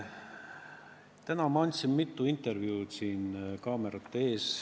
Täna ma andsin siin kaamerate ees mitu intervjuud.